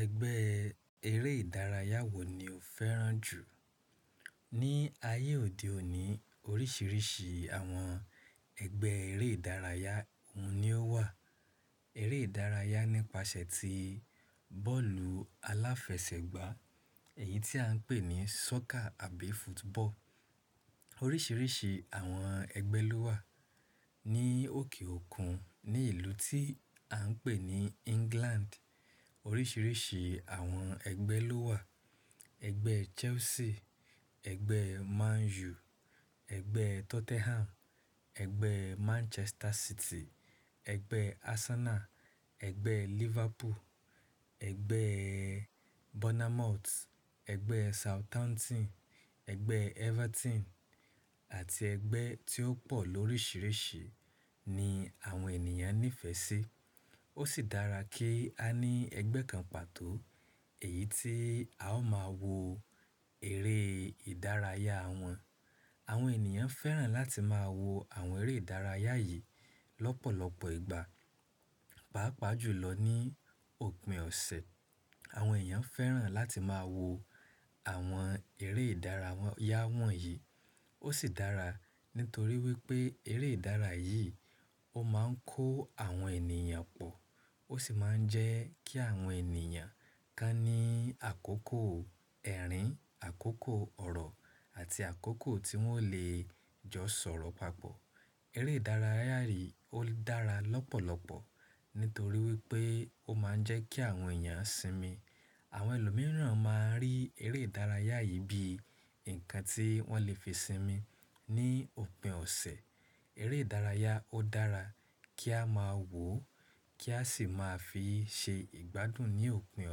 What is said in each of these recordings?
Ẹgbẹ́ eré ìdárayá wo ni o fẹ́ràn jù? Ni ayé òde òní oríṣiríṣi àwọn ẹgbẹ́ eré ìdárayá ń ní ó wà. Eré ìdárayá nípasẹ̀ ti bọ́ọ̀lù aláfẹsẹ̀gbá, èyí tí à ń pè ní soccer àbí football. Oríṣiríṣi àwọn ẹgbẹ́ ló wà ní òkè òkun ní ìlú tí à ń pè ní England. Oríṣiríṣi àwọn ẹgbẹ́ ló wà. Ẹgbẹ́ Chelsea, ẹgbẹ́ Man U, ẹgbẹ́ Tottenham, ẹgbẹ́ Manchester City, ẹgbẹ́ Arsenal, ẹgbẹ́ Liverpool, ẹgbẹ́ Bournemouth, ẹgbẹ́ Southampton, ẹgbẹ́ Everton àti ẹgbẹ́ tí ó pọ̀ lóríṣiríṣi ni àwọn ènìyàn nífẹ̀ẹ́ sí. Ó sì dára kí a ní ẹgbẹ́ kan pàtó èyí tí a ó máa wo eré ìdárayá wọn. Àwọn ènìyàn fẹ́ràn láti máa wo àwọn eré ìdárayá yìí lọ́pọ̀lọpọ̀ ìgbà. Páápàá jùlọ ní òpin ọ̀sẹ̀. Àwọn èèyàn fẹ́ràn láti máa wo àwọn eré ìdárayá wọ̀nyí. Ó sì dára nítorí wípé eré ìdárayá yìí ó máa ń kó àwọn ènìyàn pọ̀. Ó sì máa ń jẹ́ kí àwọn ènìyàn kan ní àkókò ẹ̀rín, àkókò ọ̀rọ̀ àti àkókò tí wọ́n ò le jọ sọ̀rọ̀ papọ̀. Eré ìdárayá yìí ó dára lọ́pọ̀lọpọ̀ nítorí wípé ó máa ń jẹ́ kí àwọn èèyàn sinmi. Àwọn ẹlòmíràn máa ń rí eré ìdárayá yìí bíi nǹkan tí wọ́n le fi sinmi ní òpin ọ̀sẹ̀. Eré ìdárayá ó dára kí a máa wò ó kí a sì máa fi ṣe ìgbádùn ní òpin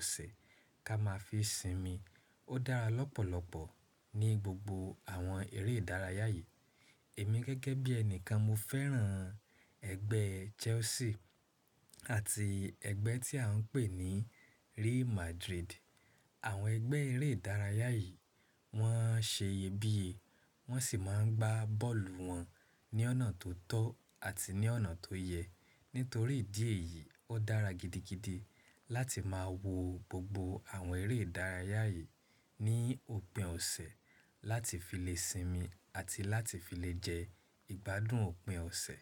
ọ̀sẹ̀ kí a máa fi sinmi. Ó dára lọ́pọ̀lọpọ̀ ní gbogbo àwọn eré ìdárayá yìí. Èmi gẹ́gẹ́ bí ẹni kan mo fẹ́ràn ẹgbẹ́ Chelsea àti ẹgbẹ́ tí à ń pè ní Real Madrid. Àwọn ẹgbẹ́ eré ìdárayá yìí wọ́n ń ṣe iyebíye, wọ́n sì máa ń gbá bọ́ọ̀lù wọn ní ọ̀nà tó tọ́ àti ní ọ̀nà tó yẹ. Nítorí ìdí èyí, ó dára gidigidi láti máa wo gbogbo àwọn eré ìdárayá yìí ní òpin ọ̀sẹ̀ láti fi lè sinmi àti láti fi lè jẹ ìgbádùn òpin ọ̀sẹ̀.